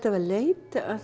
að leita að